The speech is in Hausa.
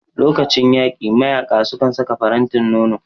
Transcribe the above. Lokacin yaƙi mayaƙa sukan saka faranti nono